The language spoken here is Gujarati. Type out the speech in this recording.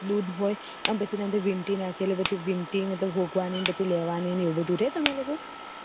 દૂધ હોય અને પછી એના અન્દર વીંટી નાખવાની હોગ્વાની હોય પછી લેવાની એવું બધું રે તમાર લોકો ને